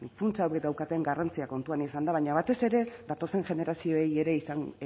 funts hauek daukaten garrantzia kontuan izanda baina batez ere datozen